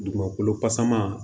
Dugukolo pasaman